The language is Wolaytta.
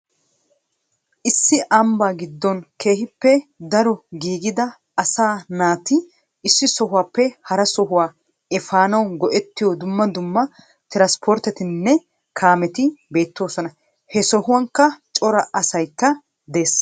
issi ambbaa giddon keehippe daro gidida asaa naata issi sohuwappe haraa sohuwa epaanawu go'etiyo dummaa dummaa tiiranspporttetinne kaametii beettosona. he sohuwankka cora asaykka de'es.